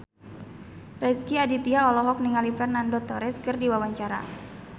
Rezky Aditya olohok ningali Fernando Torres keur diwawancara